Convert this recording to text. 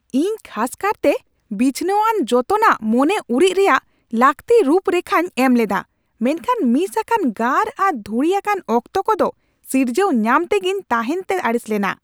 ᱤᱧ ᱠᱷᱟᱥ ᱠᱟᱨᱛᱮ ᱵᱤᱪᱷᱱᱟᱹᱣᱟᱱ ᱡᱚᱛᱚᱱᱟᱜ ᱢᱚᱱᱮ ᱩᱨᱤᱡ ᱨᱮᱭᱟᱜ ᱞᱟᱹᱠᱛᱤ ᱨᱩᱯ ᱨᱮᱠᱷᱟᱧ ᱮᱢ ᱞᱮᱫᱟ ᱢᱮᱱᱠᱷᱟᱱ ᱢᱤᱥ ᱟᱠᱟᱱ ᱜᱟᱨ ᱟᱨ ᱫᱷᱩᱲᱤ ᱟᱠᱟᱱ ᱚᱠᱛᱚ ᱠᱚᱫᱚ ᱥᱤᱨᱡᱟᱹᱣ ᱧᱟᱢ ᱛᱮᱜᱮᱧ ᱛᱟᱦᱮᱱ ᱛᱮ ᱟᱹᱲᱤᱥ ᱞᱮᱱᱟ ᱾